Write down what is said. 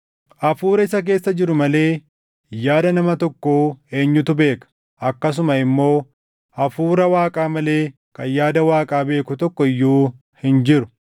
Hafuura isa keessa jiru malee yaada nama tokkoo eenyutu beeka? Akkasuma immoo Hafuura Waaqaa malee kan yaada Waaqaa beeku tokko iyyuu hin jiru.